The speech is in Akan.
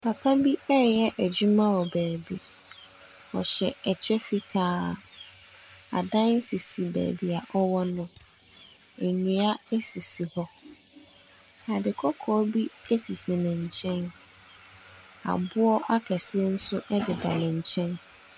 Papa bi ɛyɛ edwuma wɔ beebi. Ɔhyɛ ɛkyɛ fitaa. Adan sisi beebia ɔwɔ no. Ndua esisi hɔ. Ade kɔkɔɔ bi esisi ne nkyen mu. Aboɔ akɛseɛ so ɛdeda ne nkyɛn.